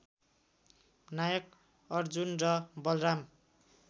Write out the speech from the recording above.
नायक अर्जुन र बलराम